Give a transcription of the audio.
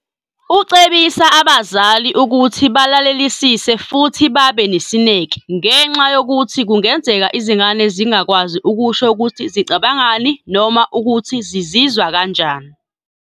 .ucebisa abazali ukuthi balalelisise futhi babe nesineke, ngenxa yokuthi kungenzeka izingane zingakwazi ukusho ukuthi zicabangani noma ukuthi zizizwa kanjani.